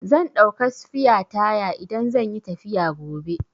Zan ɗauka sfiya taya idan zan yi tafiya gobe.